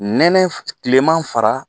Nɛnɛ kilema fara